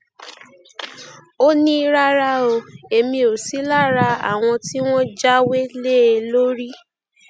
ó ní rárá o èmi ò sí lára àwọn tí wọn jáwé lé e lórí